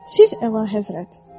Siz əlahəzrət.